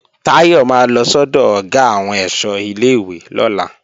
Táyọ̀ máa lọ sọ́dọ̀ Ọ̀gá àwọn ẹ̀ṣọ́ ilé-ìwé lọ́la